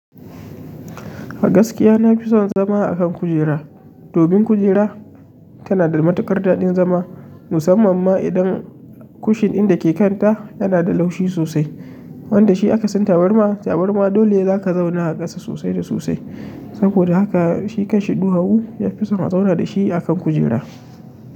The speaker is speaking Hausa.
A gaskiya na fi son zama a kan kujera. Domin kujera tana da matuƙar daɗin zama, musamman ma idan kushin din dake kanta yana da laushi sosai. Wanda shi aka san tabarma. Tabarma dole za ka zauna a ƙasa sosai da sosai. Saboda haka shi kan shi duwawu ya fi son a zauna da shi a kan kujera.